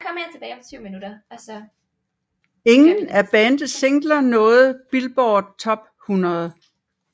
Ingen af bandets singler nåede Billboard Top 100